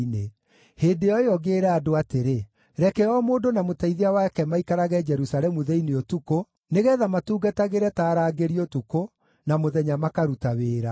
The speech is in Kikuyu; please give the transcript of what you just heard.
Hĩndĩ o ĩyo ngĩĩra andũ atĩrĩ, “Reke o mũndũ na mũteithia wake maikarage Jerusalemu thĩinĩ ũtukũ, nĩgeetha matũtungatagĩre ta arangĩri ũtukũ, na mũthenya makaruta wĩra.”